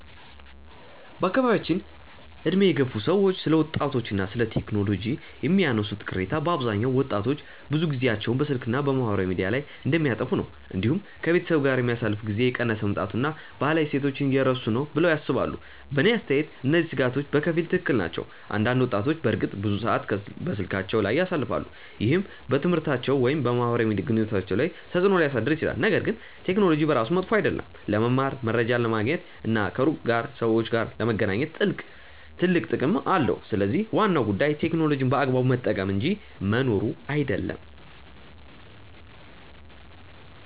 በአካባቢያችን ዕድሜ የገፉ ሰዎች ስለ ወጣቶች እና ቴክኖሎጂ የሚያነሱት ቅሬታ በአብዛኛው ወጣቶች ብዙ ጊዜያቸውን በስልክ እና በማህበራዊ ሚዲያ ላይ እንደሚያጠፉ ነው። እንዲሁም ከቤተሰብ ጋር የሚያሳልፉት ጊዜ እየቀነሰ መምጣቱን እና ባህላዊ እሴቶችን እየረሱ ነው ብለው ያስባሉ። በእኔ አስተያየት እነዚህ ስጋቶች በከፊል ትክክል ናቸው። አንዳንድ ወጣቶች በእርግጥ ብዙ ሰዓት በስልካቸው ላይ ያሳልፋሉ፣ ይህም በትምህርታቸው ወይም በማህበራዊ ግንኙነታቸው ላይ ተጽእኖ ሊያሳድር ይችላል። ነገር ግን ቴክኖሎጂ በራሱ መጥፎ አይደለም። ለመማር፣ መረጃ ለማግኘት እና ከሩቅ ካሉ ሰዎች ጋር ለመገናኘት ትልቅ ጥቅም አለው። ስለዚህ ዋናው ጉዳይ ቴክኖሎጂን በአግባቡ መጠቀም እንጂ መኖሩ አይደለም።